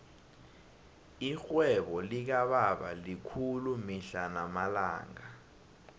irhwebo likababa likhulu mihla namalanga